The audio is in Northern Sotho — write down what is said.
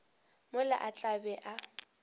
mola a tla be a